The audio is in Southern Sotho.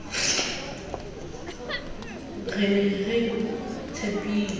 re ne re o tshepile